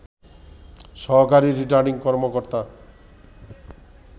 সহকারী রিটার্নিং কর্মকর্তা